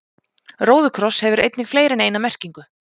róðukross hefur einnig fleiri en eina merkingu